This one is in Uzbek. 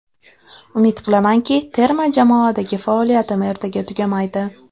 Umid qilamanki, terma jmoadagi faoliyatim ertaga tugamaydi.